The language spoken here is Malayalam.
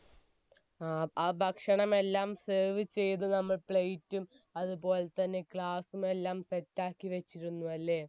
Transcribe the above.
അ ഭക്ഷണമെല്ലാം serve ചെയ്തു നമ്മൾ plate റ്റും അതുപോലെത്തന്നെ glass മെല്ലാം set റ്റാക്കി വെച്ചിരുന്നയല്ലേ